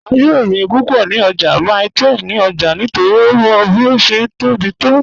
A yòò rín púpọ́ ní ọ̀jà Mile 12 ní òlà nítorí ó mọ́ bí ó ṣé tó bí to.